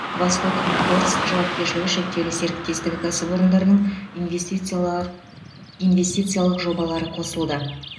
восток моторс жауапкершілігі шектеулі серіктестігі кәсіпорындарының инвестициялар инвестициялық жобалары қосылды